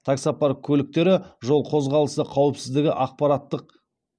таксопарк көліктері жол қозғалысы қауіпсіздігі ақпараттық